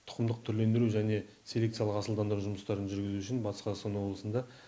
тұқымдық түрлендіру және селекциялық асылдандыру жұмыстарын жүргізу үшін батыс қазақстан облысында